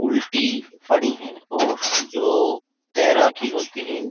उल्टी पड़ी है और जो तैरा की होती है ।